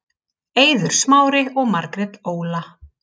Eiður Smári og Margrét Óla